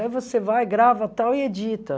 Aí você vai, grava tal e edita.